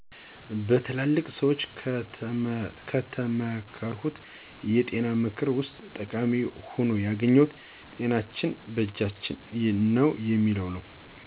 በትላልቅ ሰዎች ከተመከርኩት የጤና ምክር ዉስጥ ጠቃሚ ሁኖ ያገኘሁት 'ጤናችን በእጃችን ነው' የሚል ነው.